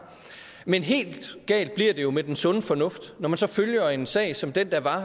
men helt galt bliver det jo med den sunde fornuft når man så følger en sag som den der var